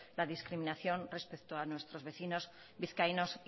la discriminación respecto a nuestros vecinos vizcaínos